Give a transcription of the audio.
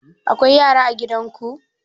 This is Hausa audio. Akwai yara a gidan ku?